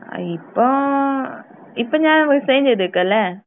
ആ ഇപ്പോ ഏഹ് ഇപ്പോ ഞാൻ റിസൈൻ ചെയ്തിക്കലെ?